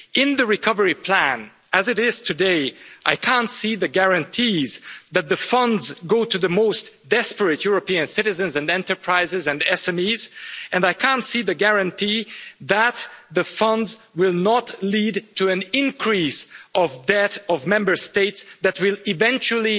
In the recovery plan as it is today, I can't see the guarantees that the funds go to the most desperate European citizens, enterprises and SMEs, and I can't see the guarantee that the funds will not lead to an increase in Member States' debt that will eventually